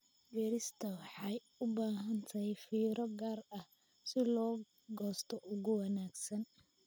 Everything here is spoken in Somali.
Beerista waxay u baahan tahay fiiro gaar ah si loo goosto ugu wanaagsan.